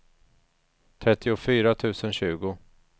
trettiofyra tusen tjugo